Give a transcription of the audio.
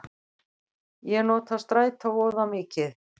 Ég nota strætó voða mikið.